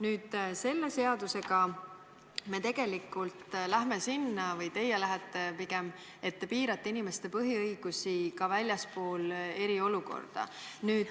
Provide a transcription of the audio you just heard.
Nüüd, selle seadusega me tegelikult läheme sinna – või pigem teie lähete –, et te piirate inimeste põhiõigusi ka väljaspool eriolukorda.